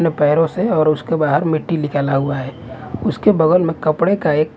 न पैरों से और उसके बाहर मिट्टी लिकाला हुआ है उसके बगल में कपड़े का एक--